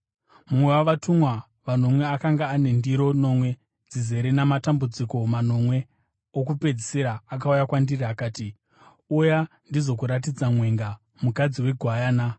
Mumwe wavatumwa vanomwe akanga ane ndiro nomwe dzizere namatambudziko manomwe okupedzisira akauya kwandiri akati, “Uya, ndizokuratidza mwenga, mukadzi weGwayana.”